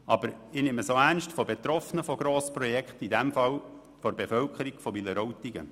Ich nehme auch die Betroffenen von Grossprojekten ernst, in diesem Fall die Bevölkerung von Wileroltigen.